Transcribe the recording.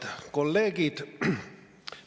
Head kolleegid!